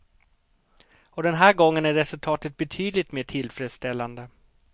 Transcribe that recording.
Och den här gången är resultatet betydligt mer tillfredsställande.